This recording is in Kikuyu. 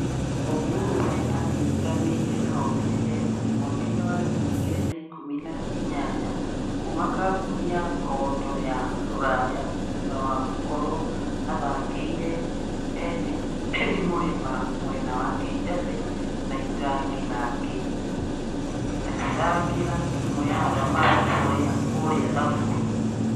Ongwae aanyitanĩre na Omĩrĩria FC mwaka-inĩ wa ngiri igĩrĩ na ĩkũmi na inyanya kuuma kambũni ya condo ya rũraya thutha wa gũkorwo athakĩire endimũrĩma mwena wa kĩjabe na Itangi na akĩthaakĩra timu ya athamaki kũrĩa Sumburu.